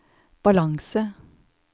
balanse